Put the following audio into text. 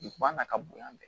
Duguba na ka bonya